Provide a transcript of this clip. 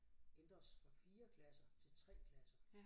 Ændres fra 4 klasser til 3 klasser